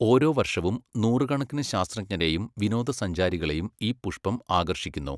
ഓരോ വർഷവും നൂറുകണക്കിന് ശാസ്ത്രജ്ഞരെയും വിനോദസഞ്ചാരികളെയും ഈ പുഷ്പം ആകർഷിക്കുന്നു.